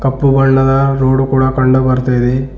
ಕಪ್ಪು ಬಣ್ಣದ ರೋಡು ಕೂಡ ಕಂಡು ಬರ್ತಾ ಇದೆ.